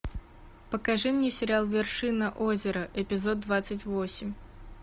покажи мне сериал вершина озера эпизод двадцать восемь